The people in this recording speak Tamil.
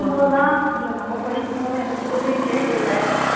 படிக்கும்போதெல்லாம் நம்ம படிக்கும்போதெல்லாம் எந்த School லையும் கேட்கல